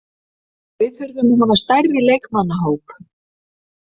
Við þurfum að hafa stærri leikmannahóp.